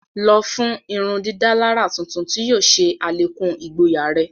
Lọ fun ìrundidàlarà tuntun tí yóò ṣe alekun igboya rẹ!